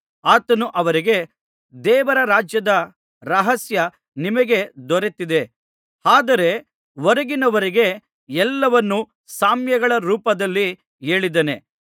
ಆತನು ಅವರಿಗೆ ದೇವರ ರಾಜ್ಯದ ರಹಸ್ಯ ನಿಮಗೆ ದೊರೆತಿದೆ ಆದರೆ ಹೊರಗಿನವರಿಗೆ ಎಲ್ಲವನ್ನು ಸಾಮ್ಯಗಳ ರೂಪದಲ್ಲಿ ಹೇಳಿದ್ದೇನೆ